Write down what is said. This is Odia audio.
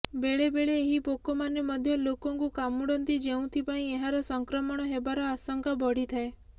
ବେଳେବେଳେ ଏହି ପୋକମାନେ ମଧ୍ୟ ଲୋକଙ୍କୁ କାମୁଡ଼ନ୍ତି ଯେଉଁଥିପାଇଁ ଏହାର ସଂକ୍ରମଣ ହେବାର ଆଶଙ୍କା ବଢିଥାଏ